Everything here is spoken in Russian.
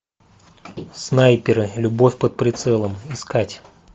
снайперы любовь под прицелом искать